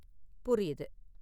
புரியுது.